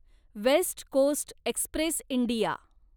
waste coast express India